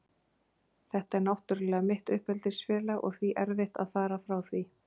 Þetta er náttúrlega mitt uppeldisfélag og því erfitt að fara frá því.